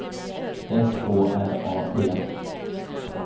S Å R A D